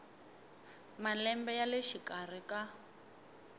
malembe ya le xikarhi ka